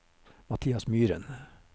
Mathias Myren